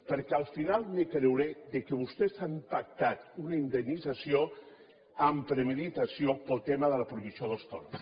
perquè al final me creuré que vostès han pactat una indemnització amb premeditació pel tema de la prohibició dels toros